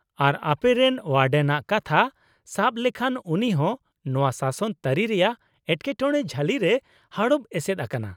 ᱟᱨ ᱟᱯᱮᱨᱮᱱ ᱳᱣᱟᱰᱮᱱ ᱟᱜ ᱠᱟᱛᱷᱟ ᱥᱟᱵ ᱞᱮᱠᱷᱟᱱ, ᱩᱱᱤ ᱦᱚᱸ ᱱᱚᱶᱟ ᱥᱟᱥᱚᱱ ᱛᱟᱹᱨᱤ ᱨᱮᱭᱟᱜ ᱮᱴᱠᱮᱴᱚᱬᱮ ᱡᱷᱟᱹᱞᱤ ᱨᱮᱭ ᱦᱟᱲᱚᱵ ᱮᱥᱮᱫ ᱟᱠᱟᱱᱟ ᱾